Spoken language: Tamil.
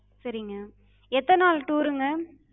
சரிங்க. எத்தன நாள் tour ங்க?